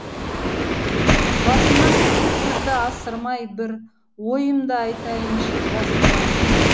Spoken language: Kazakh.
басымнан қызыл сөзді асырмай бір ойымды айтайыншы жасырмай бір